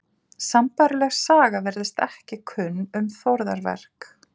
Sambærileg saga virðist ekki kunn um þórðarverk.